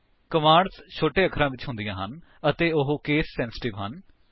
commands ਛੋਟੇ ਅਖਰਾਂ ਵਿੱਚ ਹੁੰਦੀਆਂ ਹਨ ਅਤੇ ਉਹ ਕੇਸ ਸੇਂਸਿਟਿਵ ਹਨ